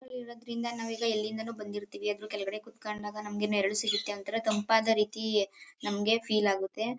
ಮರಗಳಿರೋದ್ರಿಂದ ನಾವ್ ಈಗ ಎಲ್ಲಿಂದಾನೋ ಬಂದಿರ್ತೀವಿ ಆದ್ರೂ ಕೆಳಗಡೆ ಕೂತ್ಕೊಂಡ್ ಆಗ ನಮಗೆ ನೆರಳು ಸಿಗತ್ತೆ ಒಂತರ ತಂಪಾದ ರೀತಿ ನಮಗೆ ಫೀಲ್ ಆಗತ್ತೆ.